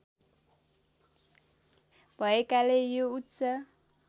भएकाले यो उच्च